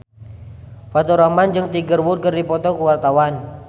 Faturrahman jeung Tiger Wood keur dipoto ku wartawan